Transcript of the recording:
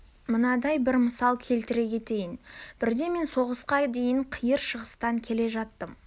мынандай бір мысал келтіре кетейін бірде мен соғысқа дейін қиыр шығыстан келе жаттым